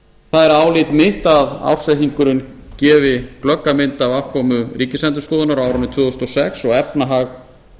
er álit mitt að ársreikningurinn gefi glögga mynd af afkomu ríkisendurskoðunar á árinu tvö þúsund og sex og efnahag